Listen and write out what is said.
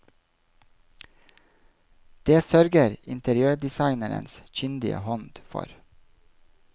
Det sørger interiørdesignerens kyndige hånd for.